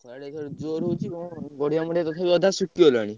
ଖରା ଟା ଅଇଖା ଜୋରେ ହଉଛି ପଡିଆ ମଡିଆ ତଥାପି ଅଧା ଶୁଖିଗଲାଣି।